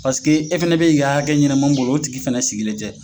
Pasike e fɛnɛ bɛ ka i ka hakɛ ɲini mun bolo o tigi fɛnɛ sigilen tɛ.